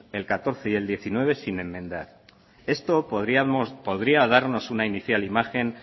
el catorce del diecinueve sin enmendar esto podría darnos una inicial imagen